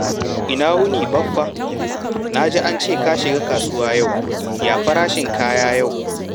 Ina wuni, Baffa? Na ji an ce ka shiga kasuwa yau. Ya farashin kaya yau?